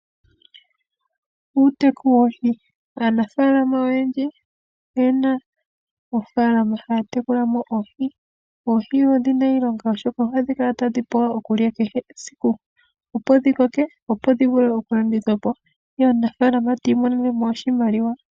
Uuteku woohi, aanafaalama oyendji oyena oofaalama haya tekula mo oohi. Oohi odhi na iilonga oshoka ohadhi kala tadhi pula okulya kehe esiku opo dhi koke, opo dhi vule okulandithwa po, ye omunafaalama tiimonenemo oshimaliwa.